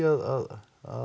að